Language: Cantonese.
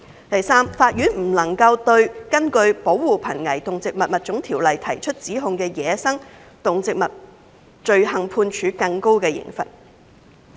第三，法院不能對根據《保護瀕危動植物物種條例》提出指控的走私野生動植物罪行判處更高的刑罰。